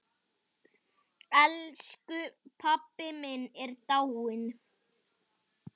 Elsku pabbi minn er dáinn!